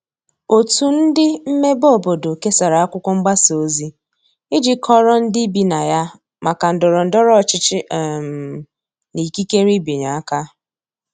otu ndi mmebe obodo kesara akwụkwo mgbasa ozi iji kọoro ndi ibi na ya maka ndoro ndoro ochichi um na ikekere ịbịanye aka